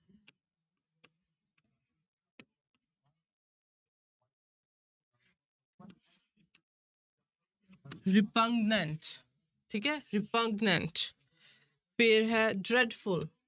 Repugnant ਠੀਕ ਹੈ repugnant ਫਿਰ ਹੈ dreadful